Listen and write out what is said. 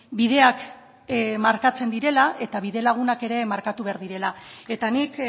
bideak markatzen direla eta bidelagunak ere markatu behar direla eta nik